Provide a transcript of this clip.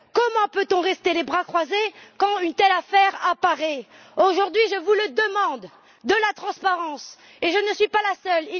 Comment peut on rester les bras croisés quand une telle affaire apparaît? Aujourd'hui, je vous demande de la transparence et je ne suis pas la seule.